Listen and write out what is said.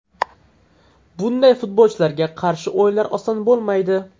Bunday futbolchilarga qarshi o‘yinlar oson bo‘lmaydi.